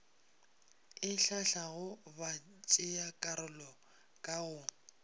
e hlahlago batšeakarolo ka go